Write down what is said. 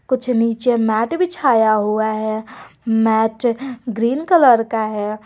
कुछ नीचे मैट बिछाया हुआ है मैट ग्रीन कलर का है।